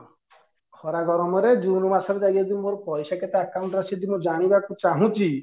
ଖରା ଗରମ ରେ june ମାସ ରେ ଯାଇକି ଯଦି ମୋ ପଇସା କେତେ account ରେ ଅଛି ଯଦି ମୁଁ ଜାଣିବାକୁ ଚାହୁଁଚି